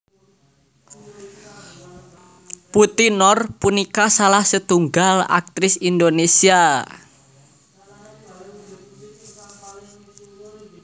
Putty Noor punika salah setunggal aktris Indonésia